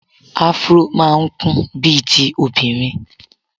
Afro máa ń kún bíi ti obìnrin.